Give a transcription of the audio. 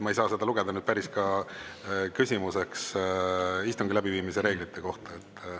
Ma ei saa seda lugeda küsimuseks istungi läbiviimise reeglite kohta.